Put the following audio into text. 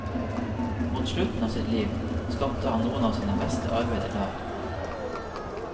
Mot slutten av sitt liv, skapte han noen av sine beste arbeider der.